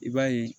I b'a ye